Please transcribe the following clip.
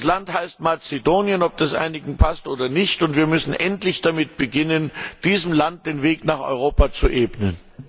Das Land heißt Mazedonien, ob das einigen passt oder nicht, und wir müssen endlich damit beginnen, diesem Land den Weg nach Europa zu ebnen.